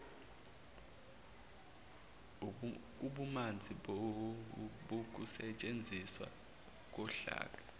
ububanzi bokusetshenziswa kohlaka